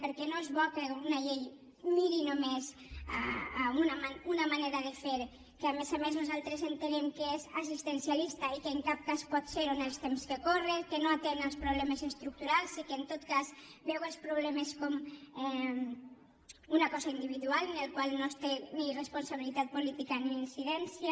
perquè no és bo que una llei miri només una manera de fer que a més a més nosaltres entenem que és assistencialista i que en cap cas pot serho en els temps que corren que no atén els problemes estructurals i que en tot cas veu els problemes com una cosa individual en la qual no es té ni responsabilitat política ni incidència